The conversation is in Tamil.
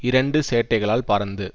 இரண்டு சேட்டைகளால் பறந்து